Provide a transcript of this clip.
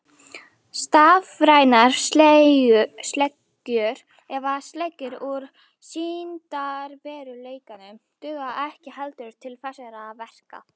Stafrænar sleggjur eða sleggjur úr sýndarveruleikanum duga ekki heldur til þessara verka.